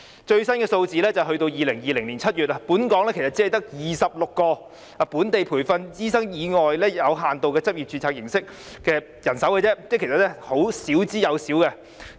最新的數字是截至2020年7月，本港只有26名非本地培訓醫生以有限度執業註冊形式在醫院工作，即其實是少之又少。